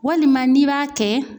Walima n'i b'a kɛ